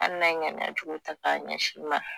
Ali n'a ye ŋaniyajugu ta k'a ɲɛsin i ma.